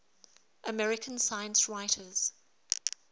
american science writers